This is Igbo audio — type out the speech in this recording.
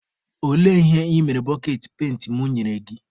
Olee ihe ị mere boketị penti mụ nyere gị?